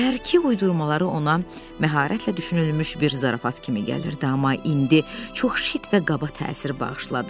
Səhərki uydurmaları ona məharətlə düşünülmüş bir zarafat kimi gəlirdi, amma indi çox şit və qaba təsir bağışladı.